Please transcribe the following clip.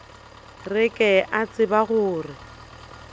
re ke a tseba gore